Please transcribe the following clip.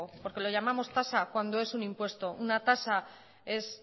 porque lo llamamos tasa cuando es un impuesto una tasa es